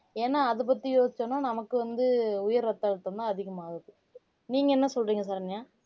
ஏன்னா அதை பத்தி யோசிச்சோம்ன்னா நமக்கு வந்து உயர் ரத்த அழுத்தம்தான் அதிகமாகுது நீங்க என்ன சொல்றீங்க சரண்யா